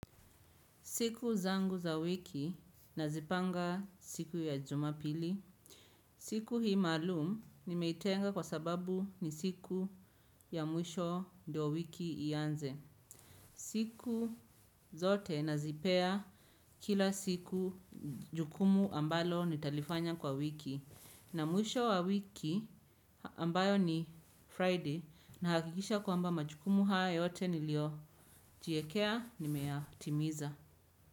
Siku zangu za wiki nazipanga siku ya jumapili. Siku hii maalum nimeitenga kwa sababu ni siku ya mwisho ndio wiki ianze. Siku zote nazipea kila siku jukumu ambalo nitalifanya kwa wiki. Na mwisho wa wiki ambayo ni Friday na hakikisha kwamba majukumu hayo yote nilio jiekea nimeyatimiza.